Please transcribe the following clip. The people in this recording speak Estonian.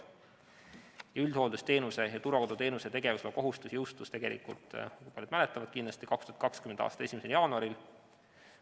Üldhooldusteenuse ja turvakoduteenuse tegevusloakohustus jõustus tegelikult, nagu paljud kindlasti mäletavad, 2020. aasta 1. jaanuaril.